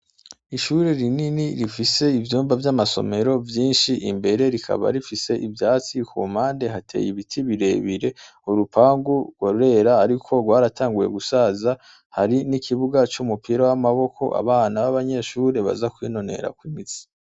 ishure rinini rifise ivyumba vy'amasomero vyinshi imbere rikaba rifise ivyatsi kumpande hateye ibiti birebire urupangu rwa gwera ariko rwaratanguwe gusaza hari n'ikibuga c'umupira w'amaboko abana b'abanyeshure baza kwinonera ku imitsi